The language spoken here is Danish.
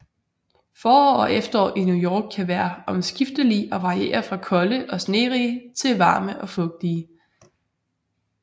Forår og efterår i New York kan være omskiftelige og variere fra kolde og snerige til varme og fugtige